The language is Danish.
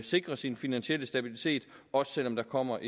sikre sin finansielle stabilitet også selv om der kommer